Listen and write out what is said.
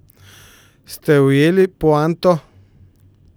Ste ujeli poanto?